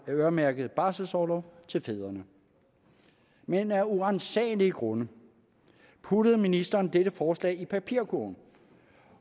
øremærket barselsorlov til fædrene men af uransagelige grunde puttede ministeren dette forslag i papirkurven